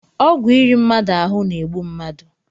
Ọgwụ iri mmadụ ahụ na-egbu mmadụ